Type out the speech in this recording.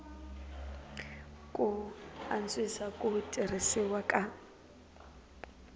ku antswisa ku tirhisiwa ka